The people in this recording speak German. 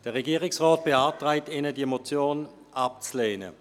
Der Regierungsrat beantragt Ihnen, diese Motion abzulehnen.